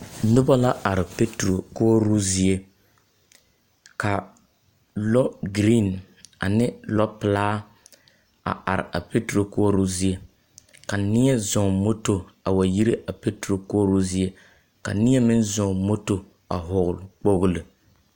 Noba la are peturo koͻroo zie. Ka lͻgiriiŋ ane lͻpelaa a are a peturo koͻroo zie. Ka neԑ zͻͻŋ moto a way ire a peturo koͻroo zie, ka neԑ meŋ zͻͻŋ moto a vͻgele kpooli.